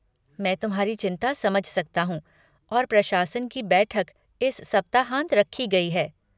मैं तुम्हारी चिंता समझ सकता हूँ और प्रशासन की बैठक इस सप्ताहांत रखी गई है।